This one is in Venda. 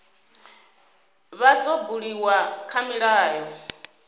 vha dzo buliwa kha milayo